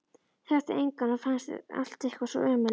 Þekkti engan og fannst allt eitthvað svo ömurlegt.